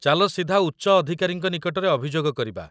ଚାଲ ସିଧା ଉଚ୍ଚ ଅଧିକାରୀଙ୍କ ନିକଟରେ ଅଭିଯୋଗ କରିବା।